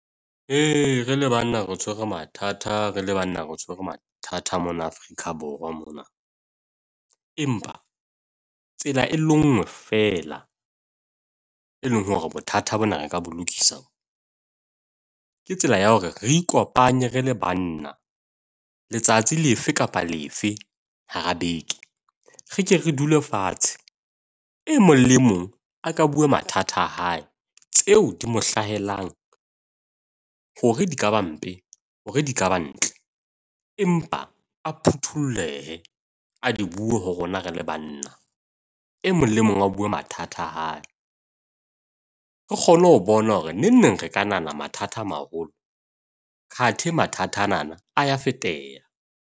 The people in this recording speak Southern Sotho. Re le banna re tshwere mathata, re le banna re tshwere mathata mona Afrika Borwa mona. Empa tsela e lenngwe fela, e leng hore bothata bona re ka bo lokisa. Ke tsela ya hore re ikopanye re le banna, letsatsi le efe kapa lefe hara beke. Re ke re dule fatshe. E mong le mong a ka bue mathata a hae. Tseo di mo hlahelang hore di ka ba mpe, hore di ka ba ntle. Empa atlehe a di bue ho rona re le banna. E mong le mong a bue mathata a hae. Re kgone ho bona hore nengneng re ka nahana mathata a maholo athe mathata a nana a ya feteha.